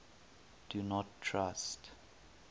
do not trust